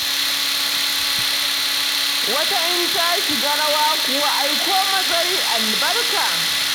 Wata in ta shiga rawa kuwa ai ko mazari albarka.